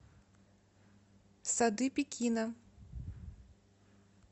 сады пекина